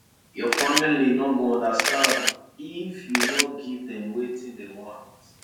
your family no go understand if you no give dem wetin dem want